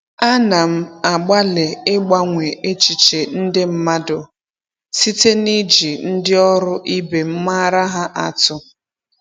Ana m agbalị ịgbanwe echiche ndị mmadụ site niji ndi oru ibem maara ha atu.